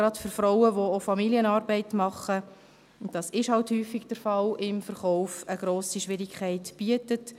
Gerade für Frauen, die auch Familienarbeit leisten – dies ist halt häufig der Fall im Verkauf –, stellt dies eine grosse Schwierigkeit dar.